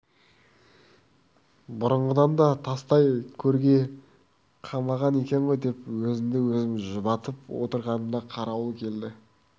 бұрынғыдан да тастай көрге қамаған екен ғой деп өзімді өзім жұбатып отырғанымда қарауыл келді